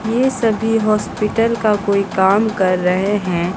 ये सभी हॉस्पिटल का कोई काम कर रहे हैं।